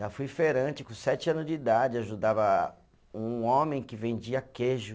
Já fui feirante com sete anos de idade, ajudava um homem que vendia queijo.